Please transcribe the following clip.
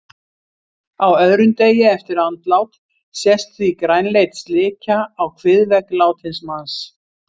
Á öðrum degi eftir andlát sést því grænleit slikja á kviðvegg látins manns.